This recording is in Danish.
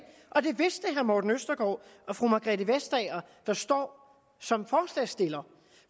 og det vidste herre morten østergaard og fru margrethe vestager der står som forslagsstillere